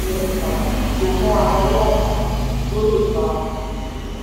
um fún àpẹẹrẹ ìpèsè ẹni pàtàkì so mọ́ adarí àgbà tó lè fa gbèsè?